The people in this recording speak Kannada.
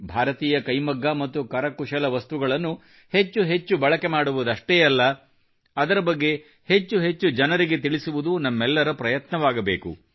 ಭಾರತೀಯ ಕೈಮಗ್ಗ ಮತ್ತು ಕರಕುಶಲ ವಸ್ತುಗಳನ್ನು ಹೆಚ್ಚೆಚ್ಚು ಬಳಕೆ ಮಾಡುವುದಷ್ಟೇ ಅಲ್ಲ ಇದರ ಬಗ್ಗೆ ಹೆಚ್ಚೆಚ್ಚು ಜನರಿಗೆ ತಿಳಿಸುವುದು ನಮ್ಮೆಲ್ಲರ ಪ್ರಯತ್ನವಾಗಬೇಕು